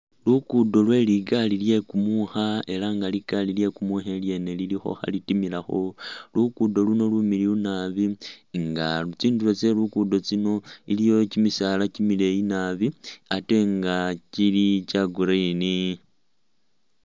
Luguudo lwe ligaali lye kumuukha ela nga ligaali lye kumuukha ilyene lilikho khalitimilakho, luguudo luno Lumiliiyu naabi nga tsindulo tse luguudo luno, iliwo kimisaala kimileeyi naabi ate nga kili kya green.